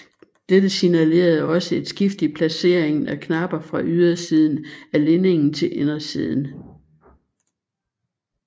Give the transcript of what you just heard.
Dette signalerede også et skift i placeringen af knapper fra ydersiden af linningen til indersiden